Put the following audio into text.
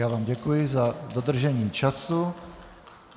Já vám děkuji za dodržení času.